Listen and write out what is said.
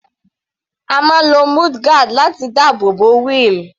A máa ń lo mudguard láti dáàbò bo wheel.